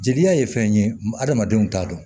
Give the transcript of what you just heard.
Jeli ye fɛn ye hadamadenw t'a dɔn